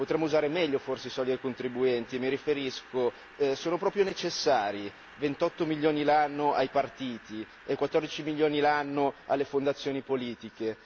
Potremmo usare meglio forse i soldi dei contribuenti e mi riferisco, sono proprio necessari 28 milioni l'anno ai partiti e 14 milioni l'anno alle fondazioni politiche?